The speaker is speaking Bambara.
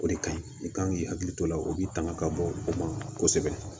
O de ka ɲi i kan k'i hakili to o la o bɛ tanga ka bɔ o ma kosɛbɛ